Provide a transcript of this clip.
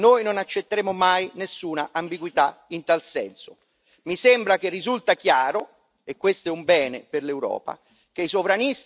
Mi sembra che risulti chiaro e questo è un bene per l'Europa che i sovranisti nazionalisti sono e saranno irrilevanti.